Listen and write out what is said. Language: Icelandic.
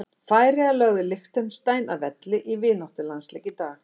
Færeyjar lögðu Liechtenstein að velli í vináttulandsleik í dag.